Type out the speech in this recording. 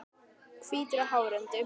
Hvítur á hörund.